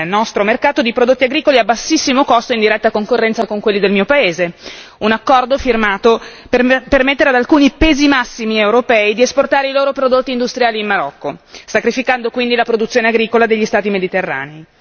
nostro mercato di prodotti agricoli a bassissimo costo in diretta concorrenza con quelli del mio paese, un accordo firmato per permettere ad alcuni pesi massimi europei di esportare i loro prodotti industriali in Marocco, sacrificando quindi la produzione agricola degli Stati mediterranei.